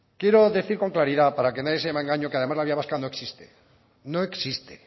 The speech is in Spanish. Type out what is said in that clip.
quiero decir con claridad para que nadie se llame a engaño que además la vía vasca no existe no existe